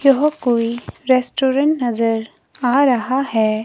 यह कोई रेस्टोरेंट नजर आ रहा है।